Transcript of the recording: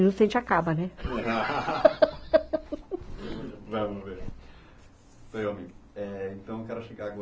Num estante acaba, né?! Vamos ver, então quero chegar agora